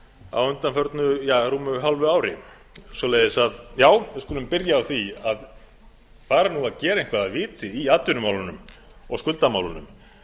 á undanförnu rúmu hálfu ári svoleiðis að já við skulum byrja á því að fara nú að gera eitthvað af viti í atvinnumálunum og skuldamálunum